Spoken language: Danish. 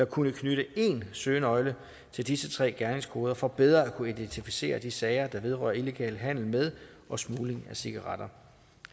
kunne knytte én søgenøgle til disse tre gerningskoder for bedre at kunne identificere de sager der vedrører illegal handel med og smugling af cigaretter